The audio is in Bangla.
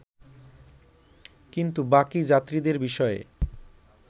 কিন্তু বাকি যাত্রীদের বিষয়ে